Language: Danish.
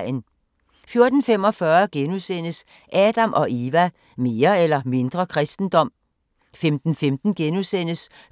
14:45: Adam & Eva: Mere eller mindre kristendom? * 15:15: